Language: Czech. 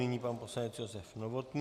Nyní pan poslanec Josef Novotný.